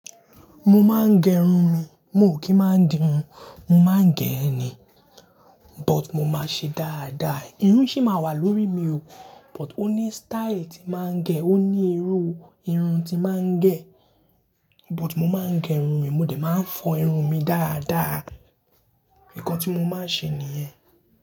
Mo máa ń gẹ irun mi, mo ò kí máa ń dirun, mo máa ń gẹ ẹ ni, but mo máa ṣe dáadáa. Irun sì máa wà lórí mi o, but ó ní style tí màá ń gẹ, ó ní irú irun tí màá ń gẹ. But mo máa ń gẹ irun mi, mo dẹ̀ máa ń fọ irun mi dáadáa. Ìkàn tí mo máa ń ṣe nìyẹn.